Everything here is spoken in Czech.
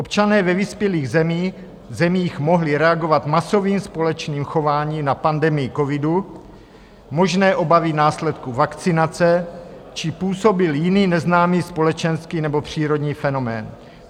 Občané ve vyspělých zemích mohli reagovat masovým společným chováním na pandemii covidu, možné obavy následků vakcinace či působil jiný neznámý společenský nebo přírodní fenomén.